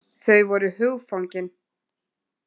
Þau voru hugfangin.